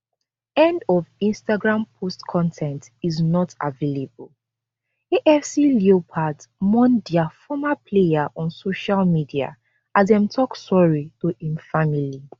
end of instagram post con ten t is not available afc leopards mourn dia former player on social media as dem tok sorry to im family